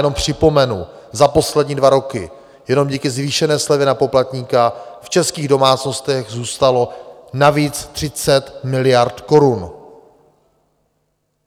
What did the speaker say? Jenom připomenu, za poslední dva roky jenom díky zvýšené slevě na poplatníka v českých domácnostech zůstalo navíc 30 miliard korun.